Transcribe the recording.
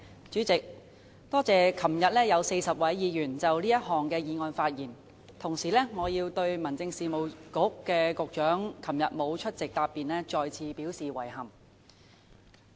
主席，我感謝昨天有40位議員就這項議案發言，同時我要對民政事務局局長昨天沒有出席答辯，再次表示遺憾。